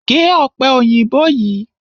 Gé ọ̀pẹ òyìnbó yìí!